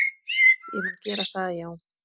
Ég mun gera það já,